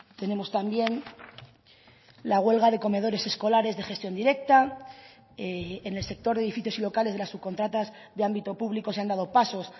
tenemos también la huelga de comedores escolares de gestión directa en el sector de edificios y locales de las subcontratas de ámbito público se han dado pasos